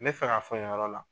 N bɛnfɛ k'a fɔ nin yɔrɔ la.